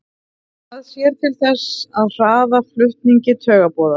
Það sér til þess að hraða flutningi taugaboða.